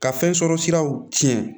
Ka fɛn sɔrɔ siraw tiɲɛ